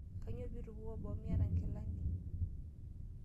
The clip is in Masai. Kanyoo pee itubukuo boo miata nkilani?